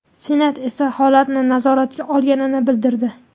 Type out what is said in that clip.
Senat esa holatni nazoratga olganini bildirdi .